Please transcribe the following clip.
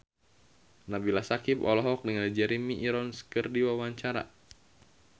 Nabila Syakieb olohok ningali Jeremy Irons keur diwawancara